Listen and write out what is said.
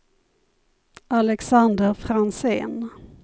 Alexander Franzén